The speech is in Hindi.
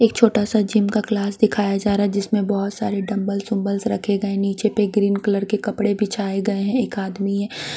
एक छोटा सा जिम का क्लास दिखाया जा रहा हैं जिसमें बहुत सारे डंबल्स बंबल्स रखे गए नीचे पर ग्रीन कलर के कपड़े बिछाए गए हैं एक आदमी हैं --